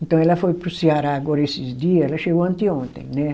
Então ela foi para o Ceará agora esses dias, ela chegou anteontem, né?